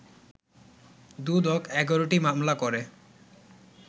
দুদক ১১টি মামলা করে